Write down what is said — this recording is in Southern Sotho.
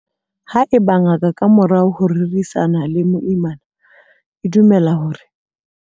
Haeba ngaka, ka morao ho ho rerisana le moimana, e dumela hore.